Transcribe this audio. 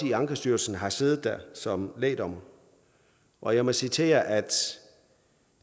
i ankestyrelsen og har siddet der som lægdommer og jeg må sige til jer at